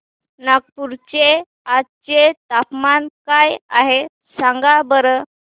नागपूर चे आज चे तापमान काय आहे सांगा बरं